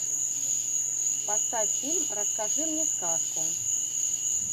поставь фильм расскажи мне сказку